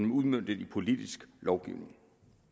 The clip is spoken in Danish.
udmøntet politisk i lovgivning